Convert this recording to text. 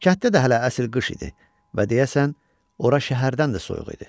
Kətdə də hələ əsl qış idi və deyəsən ora şəhərdən də soyuq idi.